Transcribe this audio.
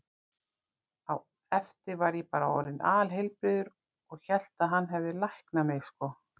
Á eftir var ég bara orðinn alheilbrigður og hélt að hann hefði læknað mig, sko.